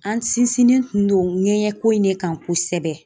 An sinsinnen tun don ŋɛɲɛko in ne kan kosɛbɛ